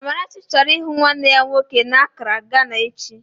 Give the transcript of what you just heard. Amarachi chọrọ ịhụ nwanne ya nwoke n'Akraa, Gana echi